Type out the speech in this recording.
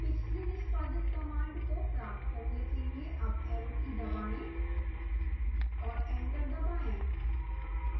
पिछली निष्पादित command को प्राप्त करने के लिए अप arrow की दबाएं और enter दबाएं